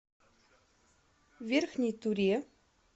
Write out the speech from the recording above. верхней туре